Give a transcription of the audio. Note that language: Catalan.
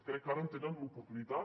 crec que ara en tenen l’oportunitat